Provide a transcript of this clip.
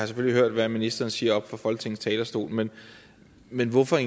selvfølgelig hørt hvad ministeren siger oppe fra folketingets talerstol men men hvorfor